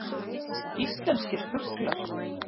Íslenskir fuglar.